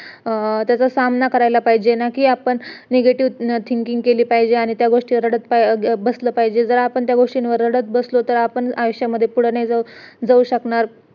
अं त्याचा सामना करायला पाहिजे ना कि आपण negative thinking केली पाहिजे आणि त्या गोष्टीवर रडत बसले पाहिजेत जर आपण त्या गोष्टीवर रडत बसलो तर आपण आयुष्यामध्ये पुढं नाही जाऊ शकणार